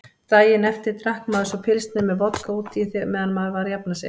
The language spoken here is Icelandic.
Daginn eftir drakk maður svo pilsner með vodka útí meðan maður var að jafna sig.